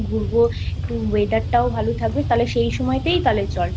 ঘুরবো একটু weather টাও ভালো থাকবে তাহলে সেই সময় তাই তাহলে চল।